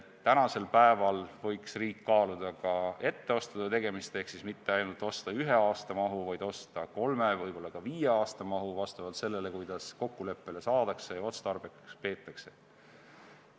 Täna võiks riik kaaluda etteostude tegemist, mitte ainult osta ühe aasta mahu, vaid osta kolme, võib-olla ka viie aasta mahu, vastavalt sellele, kuidas kokkuleppele saadakse ja otstarbekaks peetakse.